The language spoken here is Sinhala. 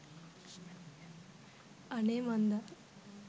අනේ මන්දා